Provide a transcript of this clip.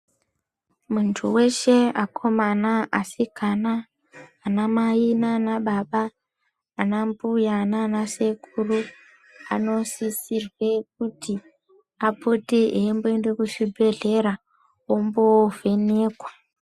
Muntu veshe akomana, asikana nanamai nanababa anambuya nanasekuru anosisirwe kuti apote eimboende kuzvibhedhlera ombo vhenekwa.